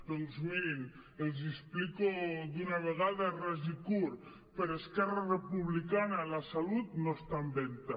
doncs mirin els hi explico d’una vegada ras i curt per esquerra republicana la salut no està en venda